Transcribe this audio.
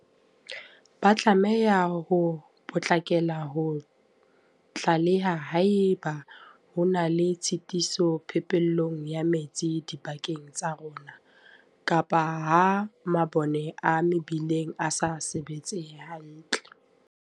Ba tlameha ho potlakela ho tlaleha haeba ho na le tshitiso phepelong ya metsi dibakeng tsa rona, kapa ha mabone a mebileng a sa sebetse hantle.